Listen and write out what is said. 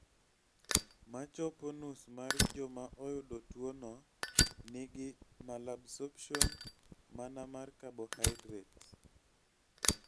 Machpo nus mar joma oyudo tuo no nigi malabsorption, mana mar cabohydrates